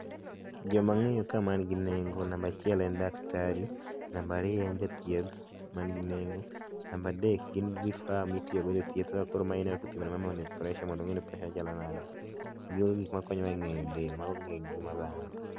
joma ng'eyo ka man gi neng'o namba achiel en daktari namba ariyo en jathieth man gi nego namba adek gin vifaa mitiyo godo e thieth kaka koro ma ipimo ne mama ni pressure mondo ong'e ni pressure ne chalo nade ,gin gik makonyo wa e ng'eyo del mago gin ngima dhano.